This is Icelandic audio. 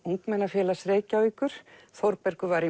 Ungmennafélags Reykjavíkur Þórbergur var í